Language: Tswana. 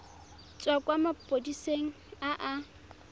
tswa kwa maphodiseng a a